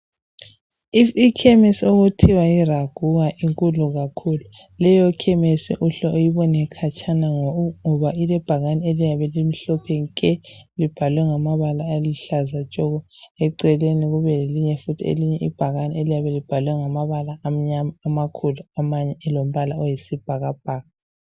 Ikhemisi okuthiwa yiIRAGUHA inkulu kakhulu. Leyo khemisi uhle uyibone khatshana ngoba ilebhakane eliyabe limhlophe nke libhalwe ngamabala aluhlaza tshoko eceleni kube lelinye futhi ibhakane eliyabe libhalwe ngamabala amnyama amakhulu amanye elombala oyisibhakabhaka.